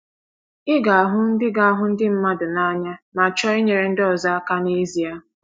“ Ị ga-ahụ ndị ga-ahụ ndị mmadụ n’anya ma chọọ inyere ndị ọzọ aka n’ezie.